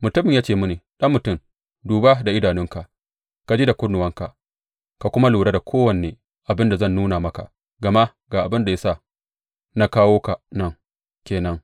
Mutumin ya ce mini, Ɗan mutum, duba da idanunka, ka ji da kunnuwanka ka kuma lura da kowane abin da zan nuna maka, gama abin da ya sa na kawo ka nan ke nan.